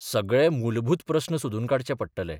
सगळे मूलभूत प्रस्न सोदून काडचे पडटले.